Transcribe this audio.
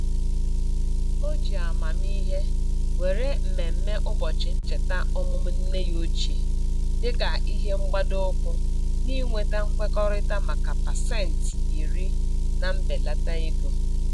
O ji amamihe were mmemme ụbọchị ncheta ọmụmụ nne ya ochie dịka ihe mgbado ụkwụ n'inweta nkwekọrịta maka pasentị iri na mbelata ego.